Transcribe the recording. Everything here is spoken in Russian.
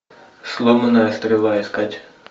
сломанная стрела искать